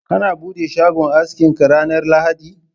kana bude shagon askin ka ranar lahadi?.